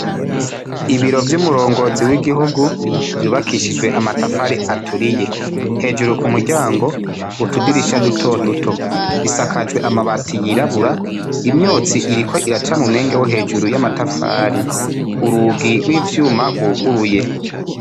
Ibiro vy'umurongozi w'igihugu, vyubakishijwe amatafari aturiye. Hejuru ku muryango, utudirisha dutoduto. Isakajwe amabati yirabura, imyotsi iriko iracari mu mwenge wo hejuru y'amatafari. Urugi rw'ivyuma rwuguruye.